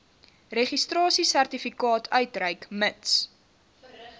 registrasiesertifikaat uitreik mits